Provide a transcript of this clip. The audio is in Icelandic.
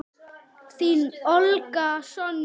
Þín, Olga Sonja.